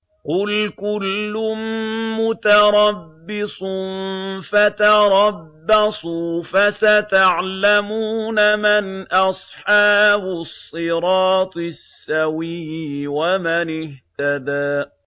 قُلْ كُلٌّ مُّتَرَبِّصٌ فَتَرَبَّصُوا ۖ فَسَتَعْلَمُونَ مَنْ أَصْحَابُ الصِّرَاطِ السَّوِيِّ وَمَنِ اهْتَدَىٰ